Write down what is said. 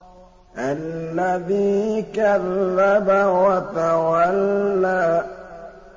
الَّذِي كَذَّبَ وَتَوَلَّىٰ